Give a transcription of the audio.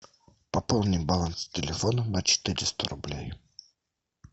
пополни баланс телефона на четыреста рублей